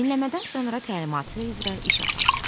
Dinləmədən sonra təlimatı üzrə iş apar.